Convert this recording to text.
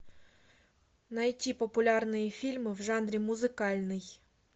найти популярные фильмы в жанре музыкальный